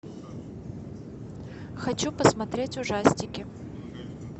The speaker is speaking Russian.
хочу посмотреть ужастики